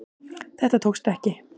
Þetta tókst ekki